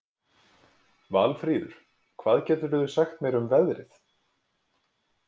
Valfríður, hvað geturðu sagt mér um veðrið?